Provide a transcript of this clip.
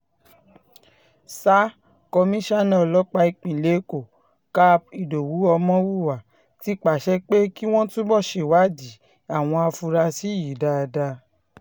sa komisanna ọlọ́pàá ìpínlẹ̀ èkó cáp ìdòwú ọmọhunwá ti pàṣẹ pé kí wọ́n túbọ̀ ṣèwádìí àwọn afurasí yìí dáadáa